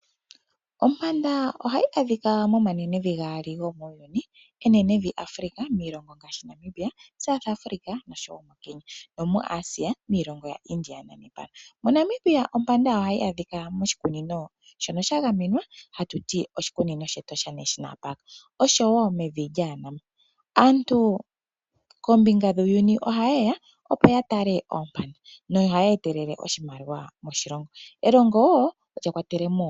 Ompanda ohayi adhika mo manenevi gaali go muuyuni. Enenevi Africa miilongo ngaashi moNamibia ,South Africa oshowo kenya no muAsia miilongo yaIndia naEuropa. moNamibia ompanda ohayi adhika moshikunino shono shagamenwa hatuti oshikunino shEtosha. Aantu koombinga dhuuyini ohaye ya opo ya tale oompanda nohaya etelele oshimaliwa moshilongo.